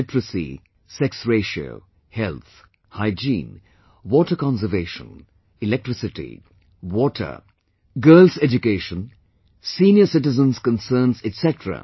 Literacy, sex ratio, health, hygiene, water conservation, electricity, water, Girl education, senior citizen's concerns etc